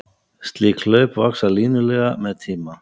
Slík hlaup vaxa línulega með tíma.